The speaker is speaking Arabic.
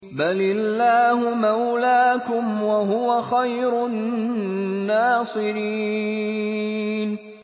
بَلِ اللَّهُ مَوْلَاكُمْ ۖ وَهُوَ خَيْرُ النَّاصِرِينَ